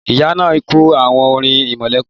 Ìyá náà kọ́ àwon orin irẹmọlẹ́kún.